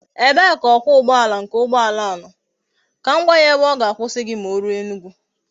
Ebe ka okwa ugboala nke ugboala a no kam gwa ya ebe oga akwusa gi ma o ruo Enugwu?